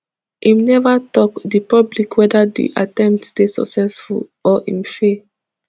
im neva tok di public whether di attempt dey successful or im fail